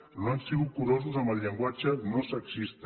que no han sigut curosos amb el llenguatge no sexista